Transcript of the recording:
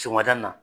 Sɔgɔmada na